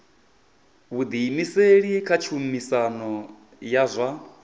vhuḓiimiseli kha tshumisano ya zwa